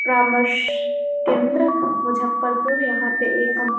प्रमास केंद्र मुजफरपुर यहाँ पे एक कॉम्प --